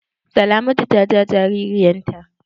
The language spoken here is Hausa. Salamatu ta ja jagiran ta.